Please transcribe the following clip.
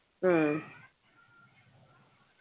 ഉം